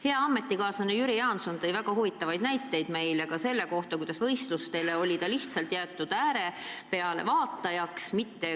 Hea ametikaaslane Jüri Jaanson tõi meile väga huvitavaid näiteid selle kohta, kuidas ta oli võistluste ajal lihtsalt jäetud platsi äärele pealtvaatajaks.